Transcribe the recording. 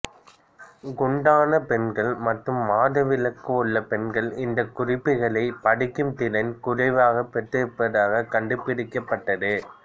குண்டான பெண்கள் மற்றும் மாதவிலக்கு உள்ள பெண்கள் இந்த குறிப்புகளை படிக்கும் திறன் குறைவாக பெற்றிருப்பதாக கண்டுபிடிக்கப்பட்டது